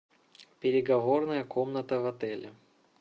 переговорная комната в отеле